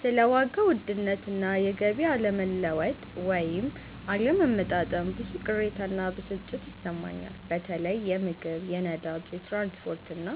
ስለ ዋጋ ውድነት እና የገቢ አለመለወጥ (ወይም አለመመጣጠን) ብዙ ቅሬታ እና ብስጭት ይሰማኛል። በተለይ የምግብ፣ የነዳጅ፣ የትራንስፖርት እና